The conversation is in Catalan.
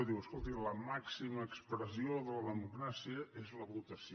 diu escolti la màxima expressió de la democràcia és la votació